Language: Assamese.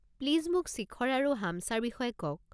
প্লিজ মোক শিখৰ আৰু হামছাৰ বিষয়ে কওক।